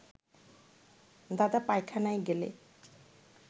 দাদা পায়খানায় গেলে